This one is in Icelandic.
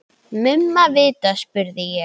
Mumma vita, spurði ég.